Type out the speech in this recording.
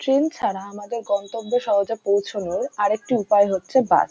train ছাড়া আমাদের গন্তব্য সহজে পৌছনোর আরেকটি উপায় হচ্ছে বাস --